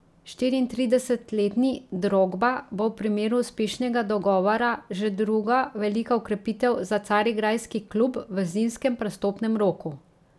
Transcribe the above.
Štiriintridesetletni Drogba bo v primeru uspešnega dogovora že druga velika okrepitev za carigrajski klub v zimskem prestopnem roku.